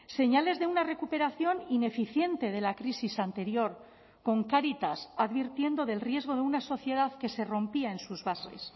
señales de una recuperación ineficiente de la crisis anterior con cáritas advirtiendo del riesgo de una sociedad que se rompía en sus bases